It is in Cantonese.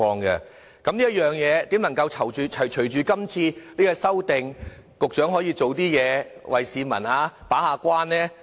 就這一點，如何隨着今次這項修訂，局長可以做點工作為市民把關？